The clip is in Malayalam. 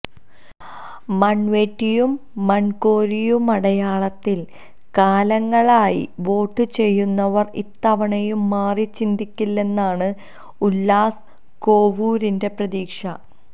മണ്വെട്ടിയും മണ്കോരിയുമടയാളത്തില് കാലങ്ങളായി വോട്ടുചെയ്യുന്നവര് ഇത്തവണയും മാറിച്ചിന്തിക്കില്ലെന്നാണ് ഉല്ലാസ് കോവൂരിന്റെ പ്രതീക്ഷ